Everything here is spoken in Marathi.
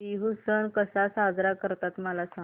बिहू सण कसा साजरा करतात मला सांग